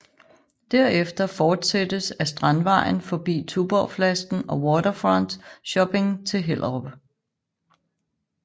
Derefter fortsættes ad Strandvejen forbi Tuborgflasken og Waterfront Shopping til Hellerup